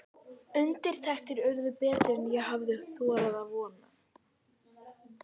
Undirtektir urðu betri en ég hafði þorað að vona.